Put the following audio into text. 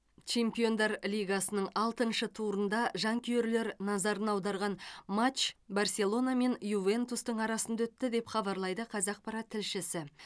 чемпиондар лигасының алтыншы турында жанкүйерлер назарын аударған матч барселона мен ювентустың арасында өтті деп хабарлайды қазақпарат тілшісі